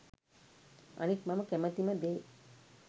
අනික් මම කැමතිම දේ